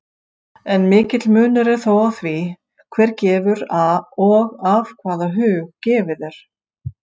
En mikill munur er þó á því, hver gefur og af hvaða hug gefið er.